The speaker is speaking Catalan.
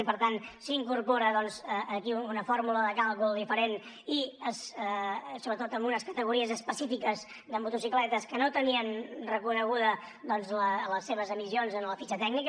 i per tant s’incorpora aquí una fórmula de càlcul diferent i sobretot amb unes categories específiques de motocicletes que no tenien reconeguda les seves emissions en la fitxa tècnica